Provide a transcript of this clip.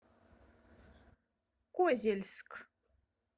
козельск